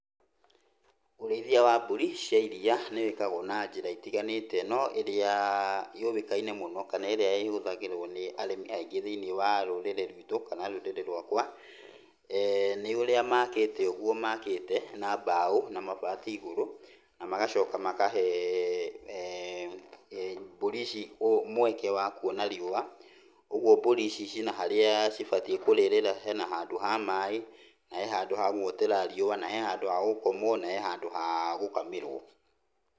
Ũrĩithia wa mbũri cia iria nĩwĩkagwo na njĩra itiganĩte, no ĩrĩa yũĩkanine mũno kana ĩrĩa ĩhũthagĩrwo nĩ arĩmi aingĩ thĩiniĩ wa rũrĩrĩ rwitũ kana rũrĩrĩ rwakwa, nĩ ũrĩa makĩte ũguo makĩte na mbao na mabati igũrũ, na magacoka makahe um mbũri ici mweke wa kuona riũa, ũguo mburi ici cina harĩa cibatiĩ kũrĩrĩra, hena handũ ha maĩ, na he handũ ha guotera riũa, na he handũ ha gũkomwo, na he handũ ha gũkamĩrwo.